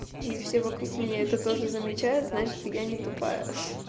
и все вокруг меня это тоже замечают значит я не тупая ха